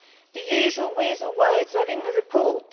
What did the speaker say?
The usual weasel words are in the report.